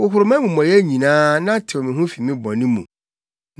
Hohoro mʼamumɔyɛ nyinaa na tew me ho fi me bɔne mu!